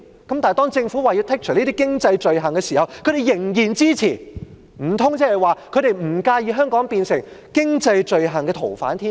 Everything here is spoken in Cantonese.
但是，當政府表示要剔除這些經濟罪類時，他們仍然支持，難道他們不介意香港變成經濟罪犯的天堂嗎？